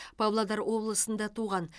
павлодар облысында туған